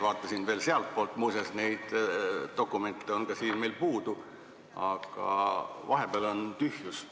Vaatasin ka sealtpoolt – muuseas, neid dokumente on meil siin puudu –, aga vahepeal on tühjus.